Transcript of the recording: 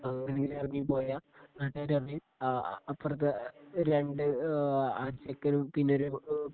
അവരെങ്ങാ ഇറങ്ങിപ്പോയ നാട്ടുകാര് പറയും ആ അപ്പുറത്തെ രണ്ടു ആ ചെക്കനും പിന്നൊരു